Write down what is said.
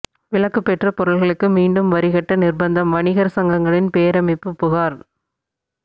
விலக்கு பெற்ற பொருள்களுக்கு மீண்டும் வரி கட்ட நிா்பந்தம்வணிகா் சங்கங்களின் பேரமைப்பு புகாா்